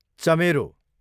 चमेरो